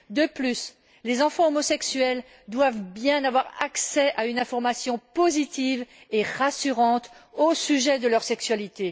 De plus, les enfants homosexuels doivent avoir accès à une information positive et rassurante au sujet de leur sexualité.